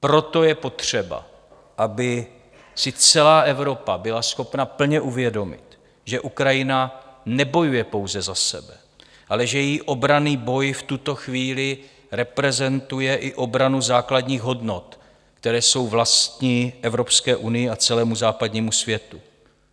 Proto je potřeba, aby si celá Evropa byla schopna plně uvědomit, že Ukrajina nebojuje pouze za sebe, ale že její obranný boj v tuto chvíli reprezentuje i obranu základních hodnot, které jsou vlastní Evropské unii a celému západnímu světu.